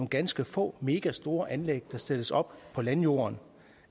ganske få megastore anlæg der stilles op på landjorden